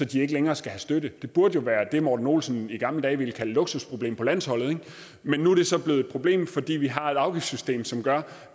de ikke længere skal have støtte det burde jo være det morten olsen i gamle dage ville kalde et luksusproblem på landsholdet men nu er det så blevet et problem fordi vi har et afgiftssystem som gør